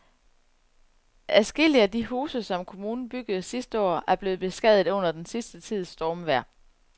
Adskillige af de huse, som kommunen byggede sidste år, er blevet beskadiget under den sidste tids stormvejr.